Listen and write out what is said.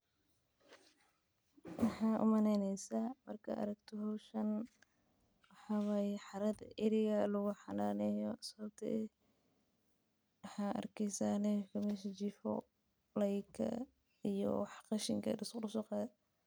Maxaa u maleynesa marki aa aragto hoshan ito wax qashinka ariga lasku soqadhe ayan u maleyni haya.